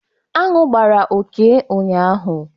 Anụ gbara Okey ụnyaahụ